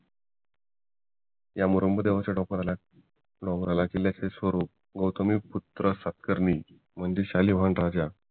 ह्या मुरुंब डोंगराच्या टोकाला किल्ल्याचे स्वरूप व पुत्र्सात्कारणी म्हणजे शालीभान राजा